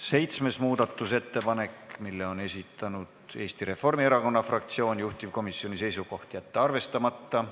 Seitsmenda muudatusettepaneku on esitanud Eesti Reformierakonna fraktsioon, juhtivkomisjoni seisukoht: jätta see arvestamata.